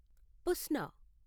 పుస్నా